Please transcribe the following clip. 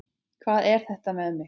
Hvað er þetta með mig?